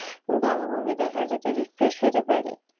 ভালো movie দেখা যাতে refresh হইতে পারি।